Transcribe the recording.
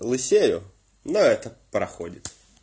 лысею но это проходит